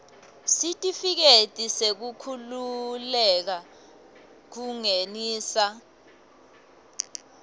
sitifiketi sekukhululeka kungenisa